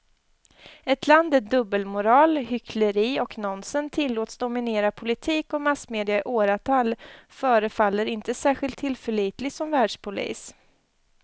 Ett land där dubbelmoral, hyckleri och nonsens tillåts dominera politik och massmedia i åratal förefaller inte särskilt tillförlitligt som världspolis.